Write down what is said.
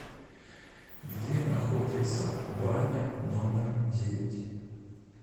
где находится баня номер девять